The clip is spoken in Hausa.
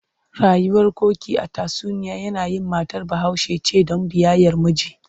Rayuwar Koki a tatsuniya yanayin matar Bahaushe ce don biyayyar miji.